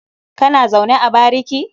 Kana zaune ne a bariki?